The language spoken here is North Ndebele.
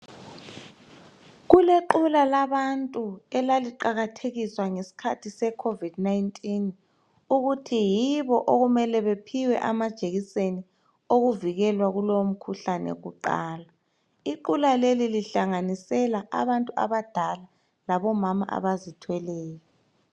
Kulequla labantu elaliqakathekiswa ngesikhathi seCovod 19 ukuthi yibo okumele bephiwe amajekiseni owokuvikela kulowo mkhuhlane kuqala, iqula leli lihlanganisela abantu abadala labo mama abazithweleyo.